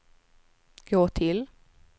gå till